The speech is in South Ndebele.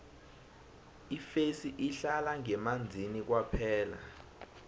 ifesi ihlala ngemanzini kwaphela